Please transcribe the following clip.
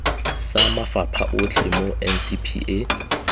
sa mafapha otlhe mo ncpa